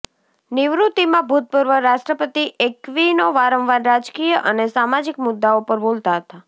નિવૃત્તિમાં ભૂતપૂર્વ રાષ્ટ્રપતિ એક્વિનો વારંવાર રાજકીય અને સામાજિક મુદ્દાઓ પર બોલતા હતા